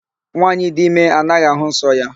Nwaanyị dị ime anaghị àhụ́ nsọ ya.